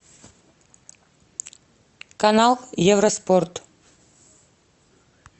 канал евроспорт